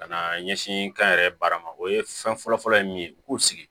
Ka na ɲɛsin kayɛrɛ baara ma o ye fɛn fɔlɔ fɔlɔ ye min ye u k'u sigi